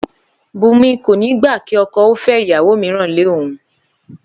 Bùnmi kò ní gbà kí okò ó fé ìyàwó mìíràn lé òun